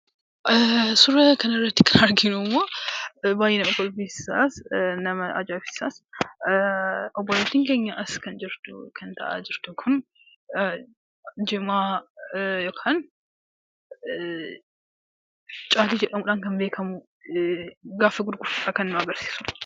Suuraa kanarratti kan arginummoo baay'ee nama kofalchiisa nama ajaa'ibsiisas. Obboleettiin keenya kan as jirtu kun jimaa yookaan caatii jedhamuudhaan kan beekamu gaafa gurgurtudha kan nu agarsiisu.